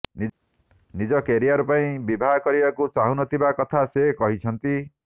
ନିଜ କ୍ୟାରିଅର ପାଇଁ ବିବାହ କରିବାକୁ ଚାହୁଁନଥିବା କଥା ସେ କହିଛନ୍ତି